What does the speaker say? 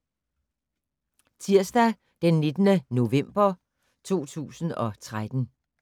Tirsdag d. 19. november 2013